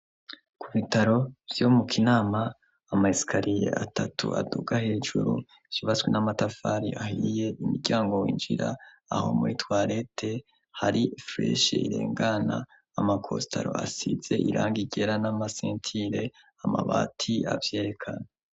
Ku bitaro vyo mu kinama amaysikariye atatu aduga hejuru shibaswe n'amatafari ahiye imiryango winjira aho muritwarete hari freshe irengana amakostaro asize iranga igera n'amasentile amabati avyerekana.